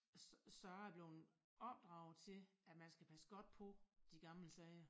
Så så jeg er bleven opdraget til at man skal passe godt på de gamle sager